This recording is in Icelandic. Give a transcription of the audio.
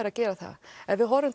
að gera það ef við horfum